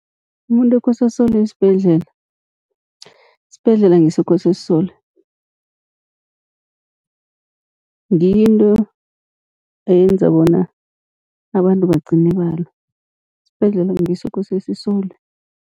Umuntu ekose asolwe sibhedlela, isibhedlela ngiso ekose sisolwe. Ngiyo into eyenza bona abantu bagcine balwa, isibhedlela ngiso ekose sisolwe.